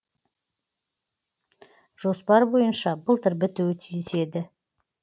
жоспар бойынша былтыр бітуі тиіс еді